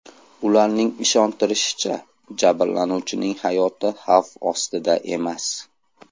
Ularning ishontirishicha, jabrlanuvchining hayoti xavf ostida emas.